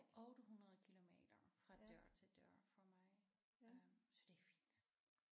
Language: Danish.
800 kilometer fra dør til dør fra mig øh så det er fint